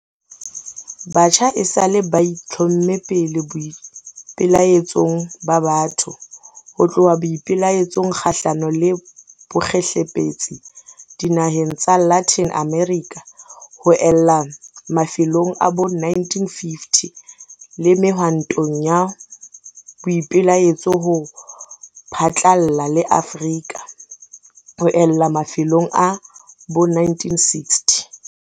Batjha esale ba itlhomme pele boipelaetsong ba batho, ho tloha boipelaetsong kgahlano le bokgehlepetsi dinaheng tsa Latin America ho ella mafelong a bo 1950, le mehwantong ya boipelaetso ho phatlalla le Afrika ho ella mafelong a bo 1960.